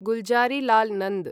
Gulzarilal Nanda